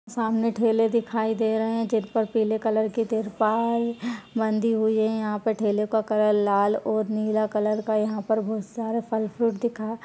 सामने ठेले दिखाई दे रहे है जिन पर पीले कलर के तिरपाल-- बंधी हुई है यहा पर ठेले का कलर लाल और नीला कलर का यहा पर बहोत सारा फल -फ्रूट दिखा --